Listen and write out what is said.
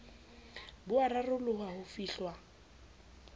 bo a raroloha ho fihlwa